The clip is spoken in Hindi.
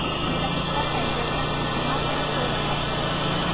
मेरा कुत्ता टाइगर घास पर सो रहा था